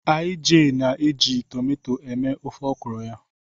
Ij na-eji tomato eme ofe ọkwụrụ ya.